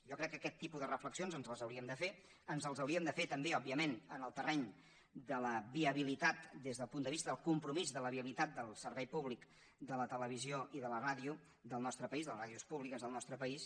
jo crec que aquest tipus de reflexions ens les hauríem de fer ens les hauríem de fer també òbviament en el terreny de la viabilitat des del punt de vista del compromís del servei públic de la televisió i de la ràdio del nostre país de les ràdios públiques del nostre país